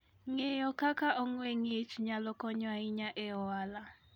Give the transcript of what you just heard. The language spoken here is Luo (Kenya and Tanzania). Ng'eyo kaka ong'we ng'ich nyalo konyo ahinya e ohala.